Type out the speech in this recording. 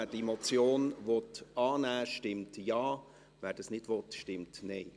Wer diese Motion annehmen will, stimmt Ja, wer dies nicht will, stimmt Nein.